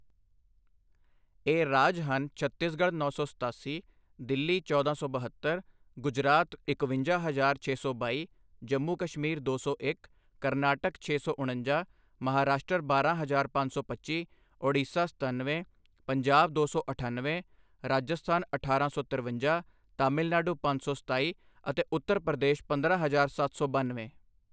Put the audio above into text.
ਇਹ ਰਾਜ ਹਨ ਛੱਤੀਸਗੜ੍ਹ ਨੌਂ ਸੌ ਸਤਾਸੀ, ਦਿੱਲੀ ਚੌਦਾਂ ਸੌ ਬਹੱਤਰ, ਗੁਜਰਾਤ ਇਕਵੰਜਾ ਹਜ਼ਾਰ ਛੇ ਸੌ ਬਾਈ, ਜੰਮੂ ਕਸ਼ਮੀਰ ਦੋ ਸੌ ਇੱਕ, ਕਰਨਾਟਕ ਛੇ ਸੌ ਉਣੰਜਾ, ਮਹਾਰਾਸ਼ਟਰ ਬਾਰਾਂ ਹਜ਼ਾਰ ਪੰਜ ਸੌ ਪੱਚੀ, ਓਡੀਸ਼ਾ ਸਤਨਵੇਂ, ਪੰਜਾਬ ਦੋ ਸੌ ਅਠਣਵੇਂ, ਰਾਜਸਥਾਨ ਅਠਾਰਾਂ ਸੌ ਤਿਰਵੰਜਾ, ਤਾਮਿਲਨਾਡੂ ਪੰਜ ਸੌ ਸਤਾਈ ਅਤੇ ਉਤਰ ਪ੍ਰਦੇਸ਼ ਪੰਦਰਾਂ ਹਜ਼ਾਰ ਸੱਤ ਸੌ ਬਨਵੇਂ।